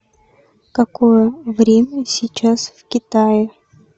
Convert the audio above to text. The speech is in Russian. какое время сейчас в китае